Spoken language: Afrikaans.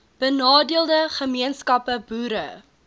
benadeelde gemeenskappe boere